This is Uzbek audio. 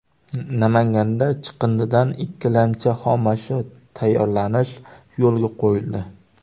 Namanganda chiqindidan ikkilamchi xomashyo tayyorlanish yo‘lga qo‘yildi.